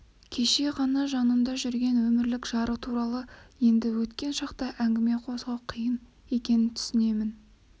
кеше ғана жанында жүрген өмірлік жары туралы енді өткен шақта әңгіме қозғау қиын екенін түсінемін